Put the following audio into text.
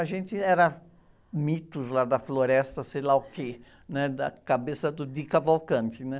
A gente era, mitos lá da floresta, sei lá o quê, né? Da cabeça do Di Cavalcanti, né?